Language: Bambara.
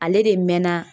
Ale de mɛnna